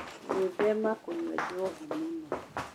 Gwĩthema kũnyua njohi mũno